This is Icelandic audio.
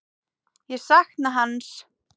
Ég sakna hans.